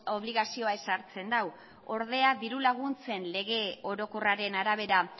obligazioa ezartzen du ordea diru laguntzen lege orokorraren arabera